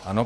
Ano.